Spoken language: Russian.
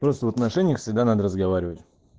просто в отношениях всегда надо разговаривать